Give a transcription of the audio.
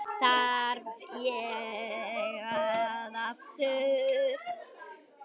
Þarf ég að segja það aftur?